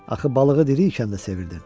Axı balığı diri ikən də sevirdin.